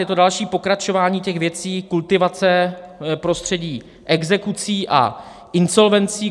Je to další pokračování těch věcí, kultivace prostředí exekucí a insolvencí.